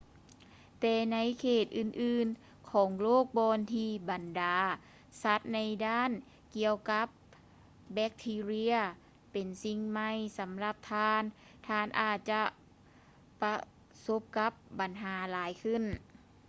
ແຕ່ໃນເຂດອື່ນໆຂອງໂລກບ່ອນທີ່ບັນດາສັດໃນດ້ານກ່ຽວກັບແບກທີເຣຍ ເປັນສິ່ງໃໝ່ສຳລັບທ່ານ ທ່ານອາດຈະປະສົບກັບບັນຫາຫຼາຍຂຶ້ນ